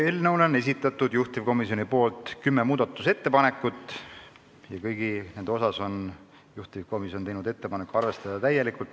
Eelnõu muutmiseks on juhtivkomisjon esitanud kümme ettepanekut ja kõigi nende puhul on ettepanek arvestada neid täielikult.